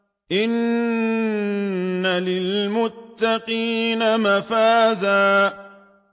إِنَّ لِلْمُتَّقِينَ مَفَازًا